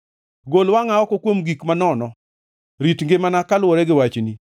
Gol wangʼa oko kuom gik manono; rit ngimana kaluwore gi wachni.